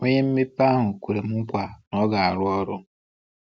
Onye mmepe ahụ kwerem nkwa na ọ ga-arụ ọrụ.